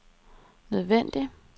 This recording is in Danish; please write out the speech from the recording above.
nødvendig